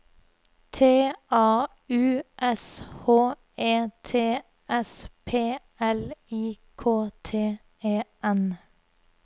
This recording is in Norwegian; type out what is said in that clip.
T A U S H E T S P L I K T E N